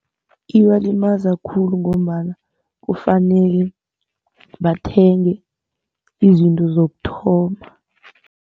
Ibalimaza khulu ngombana kufanele bathenge izinto zokuthoma.